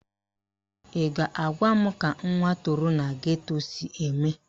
Ị ga-agwa m ka nwa toro na geto si eme?